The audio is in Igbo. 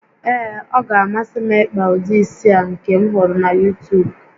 Ee, ọ ga-amasị m ịkpa ụdị isi a nke m hụrụ na YuuTuub